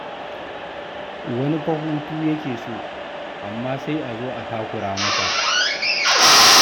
Wani fa hutu yake so, amma sai a zo a takura masa.